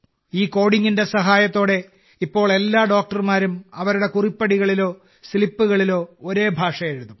ഈ കോഡിംഗിന്റെ സഹായത്തോടെ ഇപ്പോൾ എല്ലാ ഡോക്ടർമാരും അവരുടെ കുറിപ്പടികളിലോ സ്ലിപ്പുകളിലോ ഒരേ ഭാഷ എഴുതും